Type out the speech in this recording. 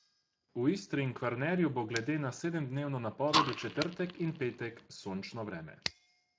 V Istri in Kvarnerju bo glede na sedemdnevno napoved v četrtek in petek sončno vreme.